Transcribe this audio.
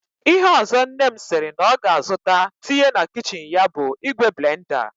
Ihe ọzọ nne m sịrị na ọ ga-azụta tinye na kichin ya bụ ìgwè blenda